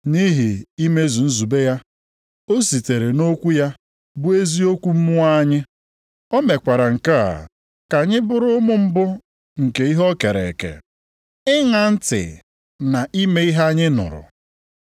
Nʼihi imezu nzube ya, o sitere nʼokwu ya bụ eziokwu mụọ anyị. O mekwara nke a ka anyị bụrụ ụmụ mbụ nke ihe o kere eke. Ịṅa ntị na ime ihe anyị nụrụ